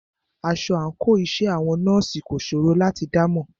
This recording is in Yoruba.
Aṣọ àńkò iṣẹ́ àwọn nọ́ọ̀sì kò ṣòro láti dámọ̀.